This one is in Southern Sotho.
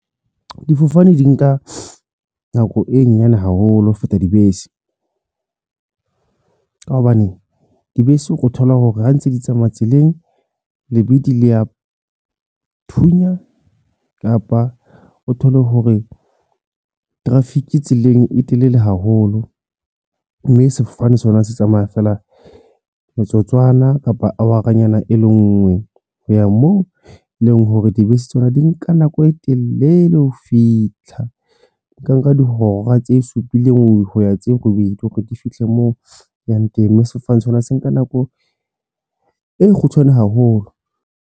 Difofane di nka nako e nyane haholo ho feta dibese, ka hobane dibese o thola hore ha ntse di tsamaya tseleng lebidi le ya o thunya kapa o thole hore traffic tseleng e telele haholo, mme sefofane sona se tsamaya feela metsotswana kapa awara nyana e le ngwe ho ya moo leng hore dibese tsona di nka nako e telele ho fitlha ka nka dihora tse supileng hoya tseo robedi hore di fihle moo yang teng, mme sefofane sena se nka nako e kgutshwane haholo.